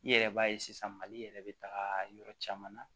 I yɛrɛ b'a ye sisan mali yɛrɛ be taga yɔrɔ caman na